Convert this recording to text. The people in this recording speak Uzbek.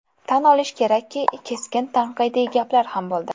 Tan olish kerakki, keskin tanqidiy gaplar ham bo‘ldi.